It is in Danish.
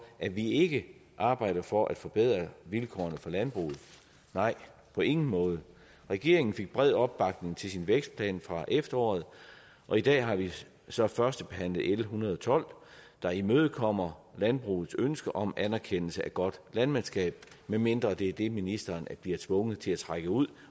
at vi ikke arbejder for at forbedre vilkårene for landbruget nej på ingen måde regeringen fik bred opbakning til sin vækstplan fra efteråret og i dag har vi så førstebehandlet l en hundrede og tolv der imødekommer landbrugets ønske om anerkendelse af godt landmandskab medmindre det er det ministeren bliver tvunget til at tage ud